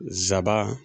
Nsaban